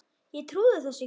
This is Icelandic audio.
Ég trúði þessu ekki.